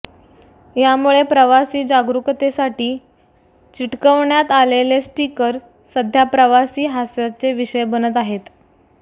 यामुळे प्रवासी जागरुकतेसाठी चिटकवण्यात आलेले स्टिकर सध्या प्रवासी हास्याचे विषय बनत आहेत